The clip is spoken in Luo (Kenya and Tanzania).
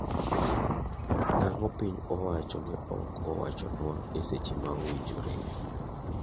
Nang'o piny owacho ne ok owachonwa e seche ma owinjore.